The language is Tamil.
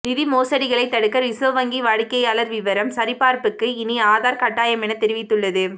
நிதி மோசடிகளை தடுக்க ரிசர்வ் வங்கி வாடிக்கையாளர் விவரம் சரிபார்ப்புக்கு இனி ஆதார் கட்டாயம் என தெரிவித்துள்ளது